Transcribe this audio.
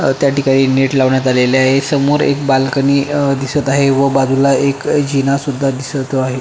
त्या ठिकाणी नेट लावण्यात आलेलं आहे समोर एक बाल्कनी अ दिसत आहे व बाजूला एक अ जिना सुद्धा दिसत आहे.